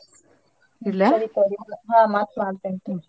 ಹಾ ಮತ್ ಮಾಡ್ತೇನ್ .